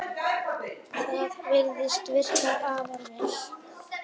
Það virðist virka afar vel.